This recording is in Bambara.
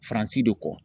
Faransi de kɔ